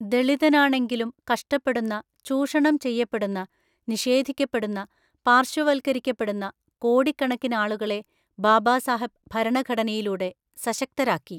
ദളിതനാണെങ്കിലും കഷ്ടപ്പെടുന്ന, ചൂഷണം ചെയ്യപ്പെടുന്ന, നിഷേധിക്കപ്പെടുന്ന, പാര്‍ശ്വവത്കരിക്കപ്പെടുന്ന കോടിക്കണക്കിനാളുകളെ ബാബാസാഹബ് ഭരണഘടനയിലൂടെ സശക്തരാക്കി.